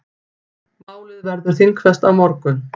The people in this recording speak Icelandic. Málið verður þingfest á morgun.